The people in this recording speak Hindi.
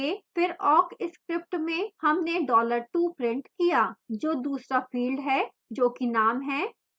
फिर awk script में हमने dollar 2 printed किया जो दूसरा field है जोकि name है